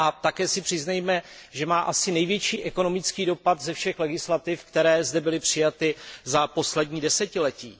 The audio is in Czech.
Také si přiznejme, že má asi největší ekonomický dopad ze všech legislativ, které zde byly přijaty za poslední desetiletí.